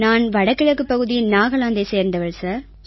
நான் வடகிழக்குப் பகுதியின் நாகாலாந்தைச் சேர்ந்தவள் சார்